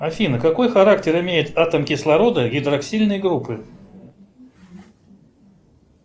афина какой характер имеет атом кислорода гидроксильной группы